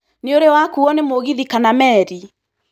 Nĩ ũrĩ wakuuo nĩ mũgithi kana meeri?